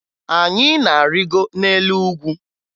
Anyị na-arịgo n'elu ugwu